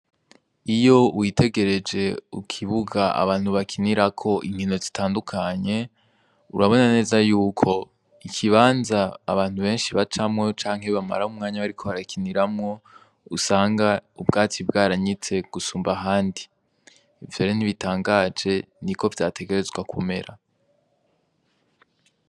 Iyo witegereje mukibuga abantu bakinirako inkino zitandukanye, urabona neza yuko ikibanza abantu benshi bacamwo canke bamaramwo umwanya bariko barakiniramwo, usanga ubwatsi bwaranyitse gusumba ahandi. Ivyo rero, ntibitangaje kuko ariko vyategerezwa kumera.